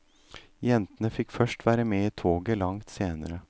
Jentene fikk først være med i toget langt senere.